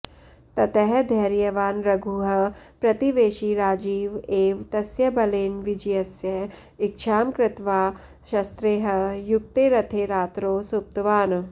ततः धैर्यवान् रघुः प्रतिवेशिराजीव एव तस्य बलेन विजयस्य इच्छां कृत्वा शस्त्रैः युक्ते रथे रात्रौ सुप्तवान्